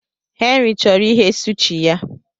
Henry chọrọ ighe sushi ya.